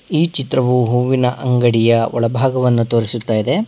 ಈ ಚಿತ್ರವು ಹೂವಿನ ಅಂಗಡಿಯ ಒಳ ಭಾಗವನ್ನು ತೋರಿಸುತ್ತದೆ.